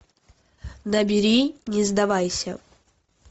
набери не сдавайся